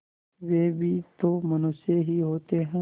वे भी तो मनुष्य ही होते हैं